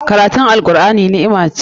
Karatun Al'Qur'ani ni'ima ce.